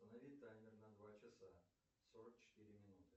установи таймер на два часа сорок четыре минуты